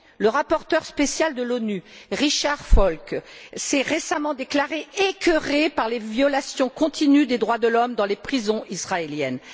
Le rapporteur spécial de l'ONU, Richard Falk, s'est récemment déclaré écoeuré par les violations continues des droits de l'homme dans les prisons israéliennes.